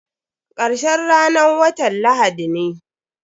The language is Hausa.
Karshen ranan watan lahadi ne.